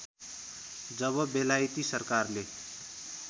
जब बेलायती सरकारले